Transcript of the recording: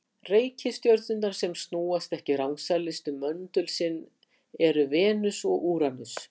Reikistjörnurnar sem snúast ekki rangsælis um möndul sinn eru Venus og Úranus.